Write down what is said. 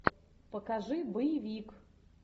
покажи боевик